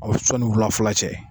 Sɔni wulafɛla cɛ